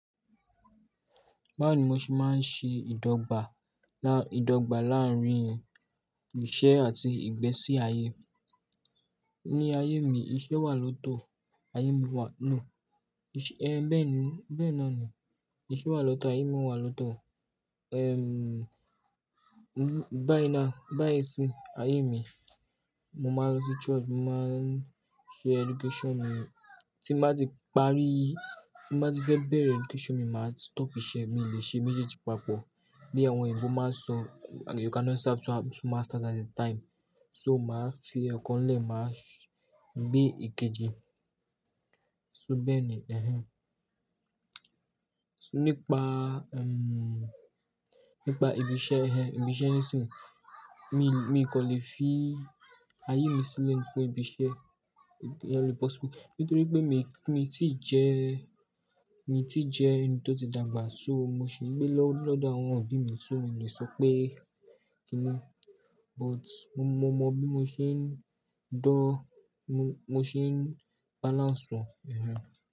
Báwo ni mo ṣe máa ń ṣe ìdọ́gba, ìdọ́gba láàárín iṣẹ́ àti ìgbésí ayé? Ní ayé mi, iṣẹ́ wà lọ́tọ̀ ayé mi wà lọ́, ẹhn, bẹ́ẹ̀ni, bẹ́ẹ̀ náà ni. Iṣẹ́ wà lọ́tọ̀ ayé mi wà lọ́tọ̀. Ehn, báyi na báyi sí ayé mi, mo máa ń lọ sí church, mo máa ń ṣe education mi. Tí mo bá ti parí, tí mo bá ti fẹ́ bẹ̀rẹ̀ education mi, màá stop iṣẹ́, mi ò lè ṣe méjèèjì papọ̀. Bí àwọn òyìnbó máa ń sọ, "You cannot serve two masters at a time." So màá fi ọ̀kan lẹ̀ máa gbé ìkejì. So bẹ́ẹ̀ni, ehen. Nípa, ehm, nípa ibi iṣẹ́ ẹ, ibi iṣẹ́ nísinsìnyí, mi, mi kàn lè fi ayé mi sílẹ̀ fún ibi iṣẹ́, yeah, le possible. Nítorí pé mi, mi ti jẹ́, mi ti jẹ́ ẹni tó ti dàgbà, so mo sì ń gbé lọ́dọ̀ àwọn òbí mi, so mi ò lè sọ pé kí ni. But mo, mo mọn bí mo ṣe ń dan, mo ṣe ń balance wọn.